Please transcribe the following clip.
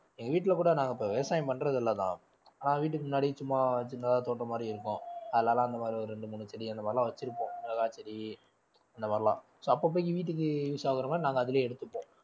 எங்க வீட்ல கூட நாங்க இப்ப விவசாயம் பண்றது இல்ல தான் ஆஹ் வீட்டுக்கு முன்னாடி சும்மா சின்னதா தோட்டம் மாதிரி இருக்கும் அதுல எல்லாம் அந்த மாதிரி ஒரு ரெண்டு மூணு செடி அந்த மாதிரிலாம் வச்சிருப்போம் மிளகா செடி அந்த மாதிரிலாம் so அப்பப்ப வீட்டுக்கு use ஆகுற மாதிரி நாங்க அதிலேயே எடுத்துப்போம்